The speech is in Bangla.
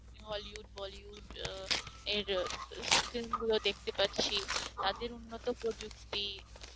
Hollywood, Bollywood আহ এর film গুলো দেখতে পাচ্ছি তাদের মত প্রযুক্তি